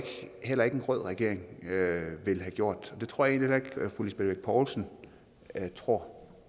heller ikke en rød regering ville have gjort og det tror jeg egentlig heller ikke at fru lisbeth bech poulsen tror